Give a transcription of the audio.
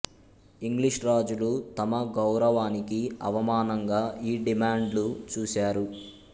English రాజులు తమ గౌరవానికి అవమానంగా ఈ డిమాండ్ను చూసారు